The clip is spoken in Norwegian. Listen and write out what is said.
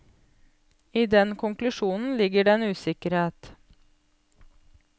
I den konklusjonen ligger det en usikkerhet.